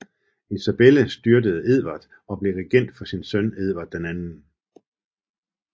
Isabella styrtede Edvard og blev regent for sin søn Edvard 2